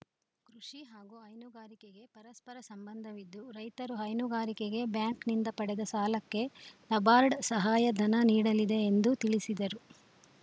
ಕೃಷಿ ಹಾಗೂ ಹೈನುಗಾರಿಕೆಗೆ ಪರಸ್ಪರ ಸಂಬಂಧವಿದ್ದು ರೈತರು ಹೈನುಗಾರಿಕೆಗೆ ಬ್ಯಾಂಕ್‌ನಿಂದ ಪಡೆದ ಸಾಲಕ್ಕೆ ನಬಾರ್ಡ್‌ ಸಹಾಯಧನ ನೀಡಲಿದೆ ಎಂದು ತಿಳಿಸಿದರು